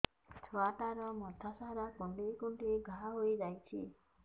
ଛୁଆଟାର ମଥା ସାରା କୁଂଡେଇ କୁଂଡେଇ ଘାଆ ହୋଇ ଯାଇଛି